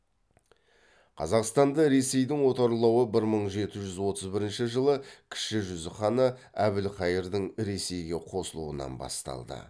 қазақстанды ресейдің отарлауы бір мың жеті жүз отыз бірінші жылы кіші жүз ханы әбілқайырдың ресейге қосылуынан басталды